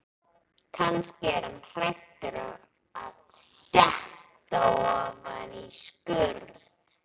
Kannski er hann hræddur um að detta ofan í skurð.